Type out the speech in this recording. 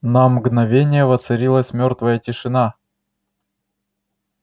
на мгновение воцарилась мёртвая тишина